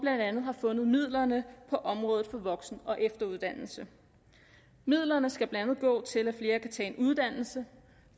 man har fundet midlerne på området for voksen og efteruddannelse midlerne skal blandt andet gå til at flere kan tage en uddannelse